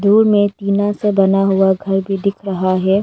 दूर में एक टीना से बना हुआ घर भी दिख रहा है।